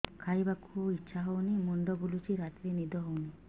ଖାଇବାକୁ ଇଛା ହଉନି ମୁଣ୍ଡ ବୁଲୁଚି ରାତିରେ ନିଦ ହଉନି